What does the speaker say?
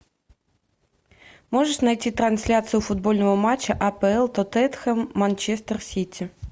можешь найти трансляцию футбольного матча апл тоттенхэм манчестер сити